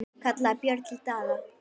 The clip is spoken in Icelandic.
kallaði Björn til Daða.